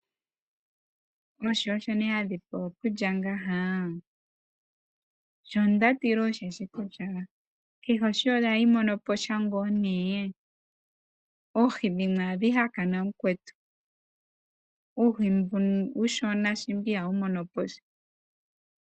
Oohi osho nduno hadhi pewa okulya ngeyi? Shoka nda tila osho shoka kutya kehe ohi ohayi mono po sha tuu? Oohi dhimwe ohadhi hakana. Uuhi mboka uushona ngiika ihawu mono po sha.